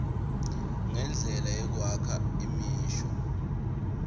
nendlela yekwakha imisho